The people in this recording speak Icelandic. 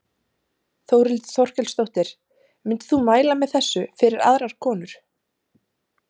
Þórhildur Þorkelsdóttir: Myndir þú mæla með þessu fyrir aðrar konur?